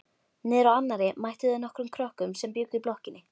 Niðrá annarri mættu þeir nokkrum krökkum sem bjuggu í blokkinni.